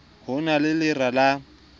ho na le lera la